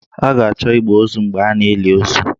A ga-achọ igbe ozu mgbe a na-eli ozu